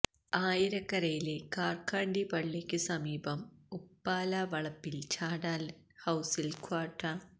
ആയിക്കരയിലെ കാര്ക്കാണ്ടി പള്ളിക്കു സമീപം ഉപ്പാല വളപ്പില് ചാലാടന് ഹൌസില് ക്വാട